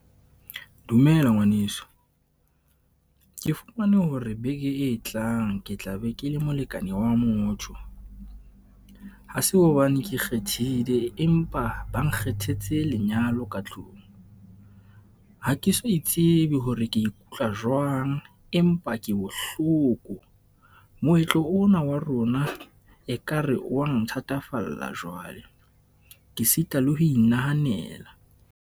Dumela ngwaneso, ke fumane hore beke e tlang ke tla be ke le molekane wa motho. Ha se hobane ke kgethile empa ba nkgethetse lenyalo ka tlung. Ha ke so itsebe hore ke ikutlwa jwang, empa ke bohloko. Moetlo ona wa rona ekare wang thatafalla jwale. Ke sita le ho inahanela.